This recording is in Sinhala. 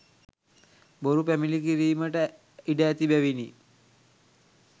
බොරු පැමිණිලි කිරීමට ඉඩ ඇති බැවිනි.